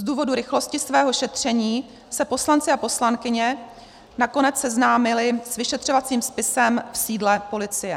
Z důvodu rychlosti svého šetření se poslanci a poslankyně nakonec seznámili s vyšetřovacím spisem v sídle policie.